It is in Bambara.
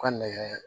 U ka nɛgɛ